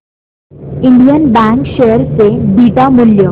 Indian bank share चे beta मूल्य